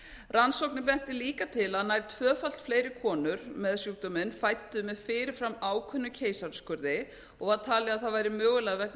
rannsóknir bentu líka til að nær tvöfalt fleiri konur með sjúkdóminn fæddu með fyrirfram ákveðnum keisaraskurði og var talið að það væri mögulega vegna